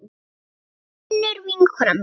Þetta var Unnur vinkona mín.